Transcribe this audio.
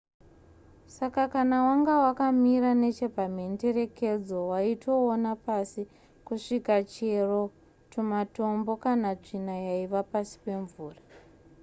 saka kana wanga wakamira nechepamhenderekedzo waitoona pasi kusvika chero tumatombo kana tsvina yaiva pasi pemvura